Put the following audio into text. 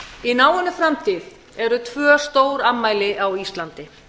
í náinni framtíð eru tvö stórafmæli á íslandi